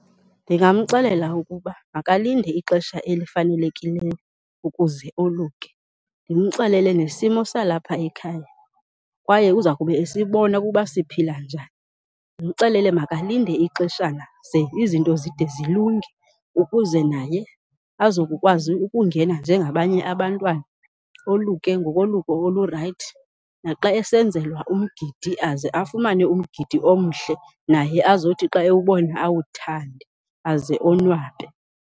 Ndingamxelela ukuba makalinde ixesha elifanelekileyo ukuze oluke. Ndimxelele nesimo salapha ekhaya kwaye uza kube esibona ukuba siphila njani. Ndimxelele makalinde ixeshana ze izinto zide zilunge ukuze naye azokukwazi ukungena njengabanye abantwana, oluke ngololuko olurayithi naxa esenzelwa umgidi aze afumane umgidi omhle naye azothi xa ewubona awuthande aze onwabe.